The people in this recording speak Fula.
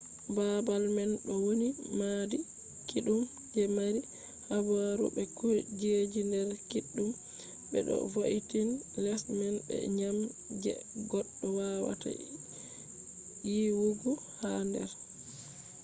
babal man do woni maadi kiddum je mari habaru be kujeji der kiddum be do vo’intini les man be dyam je goddo wawata yiwugo ha der